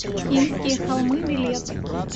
инские холмы билет